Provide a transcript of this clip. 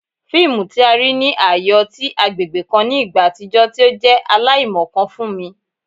Fiimu ti a rii ni aaye ọti agbegbe kan ni igba atijọ ti o jẹ alaimọkan fun mi